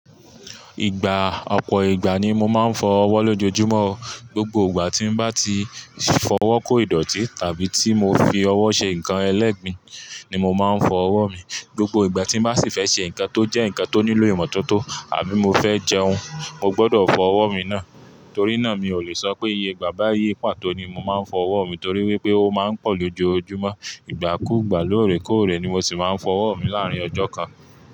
Ìgbà ọpọ ìgbà ni mo máa ń fọ ọwọ́ lójoojúmọ́. Gbogbo ìgbà tí mo bá ti fọwọ́ kó ìdọ̀tí tàbí tí mo fi ọwọ́ ṣe nǹkan ẹlẹ́gbin ni mo máa ń fọ ọwọ́ mi. Gbogbo ìgbà tí mo bá sì fẹ́ ṣe nǹkan tó jẹ́ nǹkan tó nílò ìmọ́tótó àbí mo fẹ́ jẹun, mo gbọdọ̀ fọ ọwọ́ mi náà. Torí náà mi ò lè sọ pé iye ìgbà bá iye pàtó ni mo máa ń fọ ọwọ́ mi torí wípé ó máa ń pọ̀ lójoojúmọ́. Ìgbà kúùgbà, lóòrẹ́ kóòrẹ́ ni mo sì máa ń fọ ọwọ́ mi láàrín ọjọ́ kan.